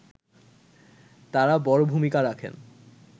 তারা বড় ভূমিকা রাখেন